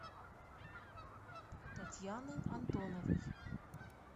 татьяны антоновой